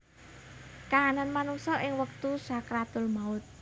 Kahanan manungsa ing wektu sakaratul maut